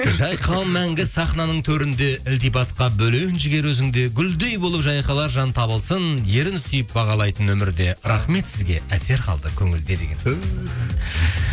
жайқал мәңгі сахнынаның төрінде ілтипатқа бөлін жігер өзің де гүлдей болып жайқалар жан табылсын ерін сүйіп бағалайтын өмірде рахмет сізге әсер қалды көңілде деген түһ